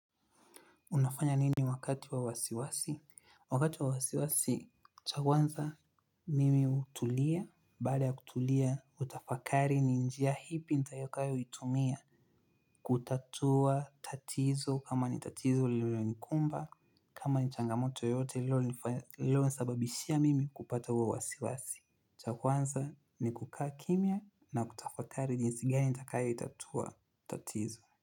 Unafanya nini wakati wa wasiwasi? Wakati wa wasiwasi, cha kwanza mimi hutulia, baada ya kutulia, hutafakari ni njia ipi nitakayoitumia. Kutatua tatizo kama ni tatizo lilonikumba, kama ni changamoto yote lililonisababishia mimi kupata huo wasiwasi. Cha kwanza ni kukaa kimya na kutafakari jinsi gani nitakayoitatua tatizo.